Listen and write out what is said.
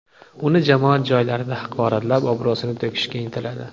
Uni jamoat joylarida haqoratlab, obro‘sini to‘kishga intiladi.